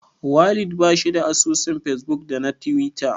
Walid bashi da asusun fesbuk da na tiwita.